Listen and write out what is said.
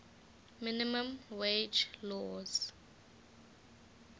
minimum wage laws